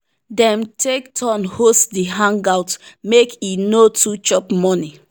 dem take turn host the hangout make e no too chop money.